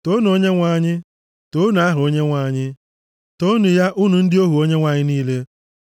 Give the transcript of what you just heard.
Toonu Onyenwe anyị. Toonu aha Onyenwe anyị, toonu ya, unu ndị ohu Onyenwe anyị niile,